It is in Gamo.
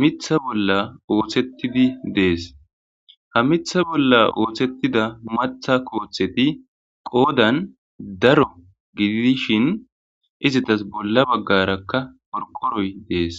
mitha bolla ooththettidi dees ha mitha bolla ooththettida matha kooththeti qoodan daro gididishin izatas bolla baggarakka porkoroy dees